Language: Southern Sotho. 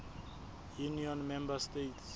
union member states